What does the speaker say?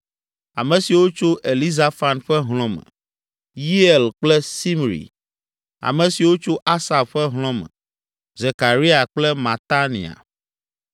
Ame siwo tso Elizafan ƒe hlɔ̃ me: Yeiel kple Simri. Ame siwo tso Asaf ƒe hlɔ̃ me: Zekaria kple Matania.